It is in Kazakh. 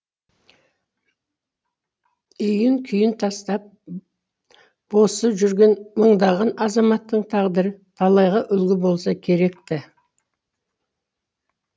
үйін күйін тастап босып жүрген мыңдаған азаматтың тағдыры талайға үлгі болса керек ті